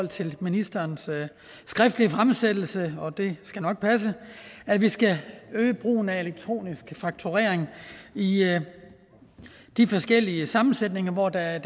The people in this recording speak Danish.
til ministerens skriftlige fremsættelse og det skal nok passe at vi skal øge brugen af elektronisk fakturering i de forskellige sammensætninger hvor der er en